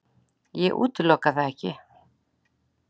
Ég útiloka það ekki.